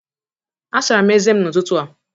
Asara m ezé m n’ụtụtụ a